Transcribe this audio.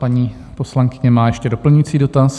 Paní poslankyně má ještě doplňující dotaz.